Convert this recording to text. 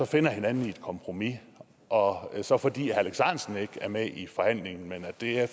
finder hinanden i et kompromis og så fordi herre alex ahrendtsen ikke er med i forhandlingen men der er